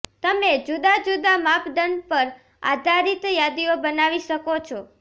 તમે જુદા જુદા માપદંડ પર આધારિત યાદીઓ બનાવી શકો છો